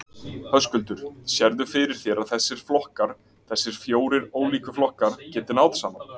Höskuldur: Sérðu fyrir þér að þessir flokkar, þessir fjórir ólíku flokkar, geti náð saman?